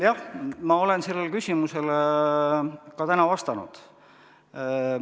Jah, ma olen sellele küsimusele ka täna vastanud.